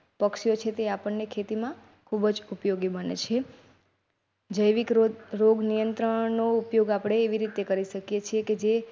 પક્ષીઓ છે. આપણ ને ખેતીમાં ખૂબ ઉપયોગી બને છે જૈવિક રોગ નિયંત્રણનો ઉપયોગ એવી રીતે કરી શકે છે કે જે.